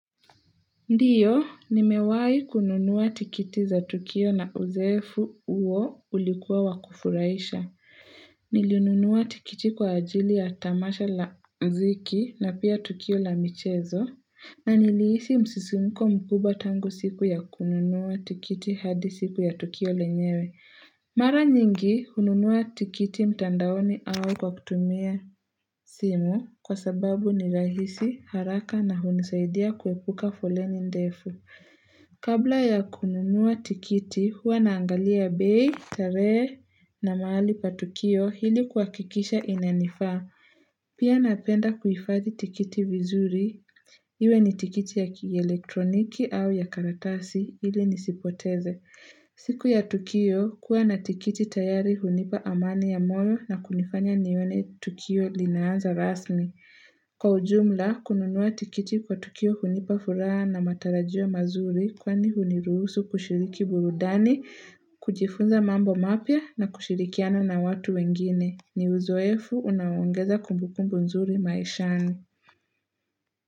Ndiyo, nimewai kununua tikiti za tukio na uzoefu uo ulikuwa wa kufuraisha. Nilinunua tikiti kwa ajili ya tamasha la mziki na pia tukio la michezo. Na nilihisi msisimko mkubwa tangu siku ya kununua tikiti hadi siku ya tukio lenyewe. Mara nyingi hununua tikiti mtandaoni au kwa kutumia simu kwa sababu ni rahisi haraka na hunisaidia kuepuka foleni ndefu. Kabla ya kununua tikiti, huwa naangalia bei, tarehe na mahali pa tukio ili kuhakikisha inanifaa. Pia napenda kuhifadhi tikiti vizuri, iwe ni tikiti ya kielektroniki au ya karatasi ili nisipoteze. Siku ya tukio kuwa na tikiti tayari hunipa amani ya moyo na kunifanya nione tukio linaanza rasmi. Kwa ujumla, kununua tikiti kwa tukio hunipa furaha na matarajio mazuri kwani huniruhusu kushiriki burudani, kujifunza mambo mapya na kushirikiana na watu wengine. Ni uzoefu unaoongeza kumbukumbu nzuri maishani.